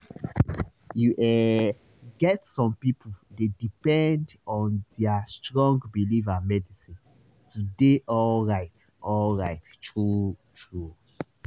you ehh get some people dey depend on their strong belief and medicine to dey alright alright true-true